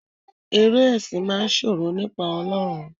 Eré esin máa n sọ̀rọ̀ nípa Ọlọrun.